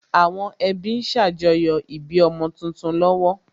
Àwọn ẹbí ń ṣàjọyọ̀ ìbí ọmọ tuntun lọ́wọ́